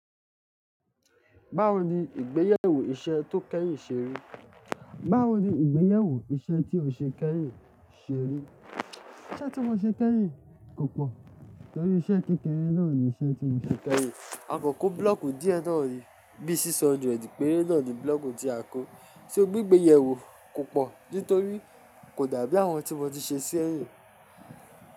Báwo ni ìgbéyewó iṣẹ́ tó kẹ́yìn ṣe rí? Báwo ni ìgbéyewó iṣẹ́ tí ọ ṣe kẹ́yìn ṣe rí? Iṣẹ́ tí mo ṣe kẹ́yìn kò pọ̀, torí iṣẹ́ kekẹ́re náà ni iṣẹ́ tí mo ṣe kẹ́yìn. A kò kó búlọ̀kù díẹ̀ náà rì, bí i 600 péré náà ni búlọ̀kù tí a kó. Ṣé ó gbé ìgbéyewó kò pọ̀ nítorí kò dàbí àwọn tí mo ti ṣe sẹ́yìn?